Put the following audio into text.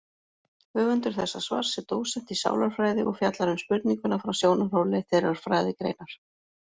Höfundur þessa svars er dósent í sálarfræði og fjallar um spurninguna frá sjónarhóli þeirrar fræðigreinar.